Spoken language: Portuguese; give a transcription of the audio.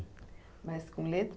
Mas com letra